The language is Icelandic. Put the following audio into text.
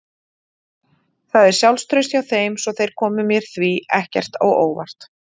Það er sjálfstraust hjá þeim svo þeir komu mér því ekkert á óvart.